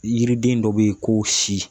Yiriden dɔ bɛ ye ko si.